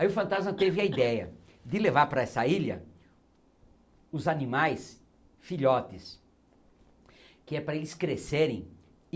Aí o Fantasma teve a ideia de levar para essa ilha os animais filhotes, que é para eles crescerem.